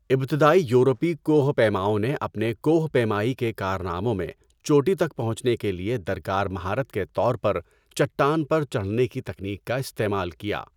ابتدائی یورپی کوہ پیماؤں نے اپنے کوہ پیمائی کے کارناموں میں چوٹی تک پہنچنے کے لیے درکار مہارت کے طور پر چٹان پر چڑھنے کی تکنیک کا استعمال کیا۔